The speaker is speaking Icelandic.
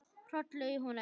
Hrollur í honum.